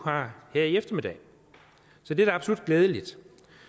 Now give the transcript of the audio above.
har her i eftermiddag så det er da absolut glædeligt